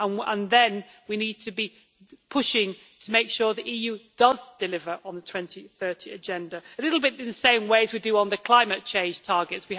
and then we need to be pushing to make sure the EU does deliver on the 2030 Agenda, a little bit in the same way as we do on the climate change targets.